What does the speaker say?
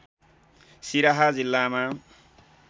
सिराहा जिल्लामा